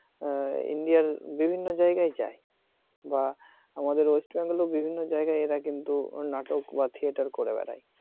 ইন্ডিয়ার বিভিন্ন জায়গায় যায় বা আমাদের ওয়েস্ট বেঙ্গলে ও বিভিন্ন জায়গায় এরা কিন্তু নাটক বা theater করে বেড়ায়।